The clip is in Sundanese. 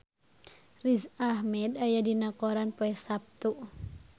Riz Ahmed aya dina koran poe Saptu